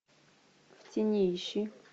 в тени ищи